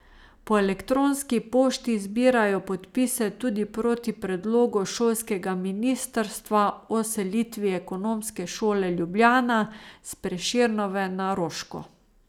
Po elektronski pošti zbirajo podpise tudi proti predlogu šolskega ministrstva o selitvi Ekonomske šole Ljubljana s Prešernove na Roško.